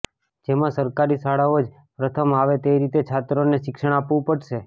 જેમાં સરકારી શાળાઓ જ પ્રથમ આવે તે રીતે છાત્રોને શિક્ષણ આપવું પડશે